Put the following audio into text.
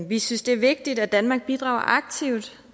vi synes det er vigtigt at danmark bidrager aktivt